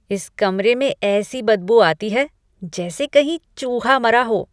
इस कमरे में ऐसी बदबू आती है जैसे कहीं चूहा मरा हो।